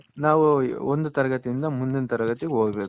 ನಾವು ಒಂದ್ ತರಗತಿ ಇಂದ ಮುಂದಿನ ತರಗತಿ ಹೋಗ್ಬೇಕು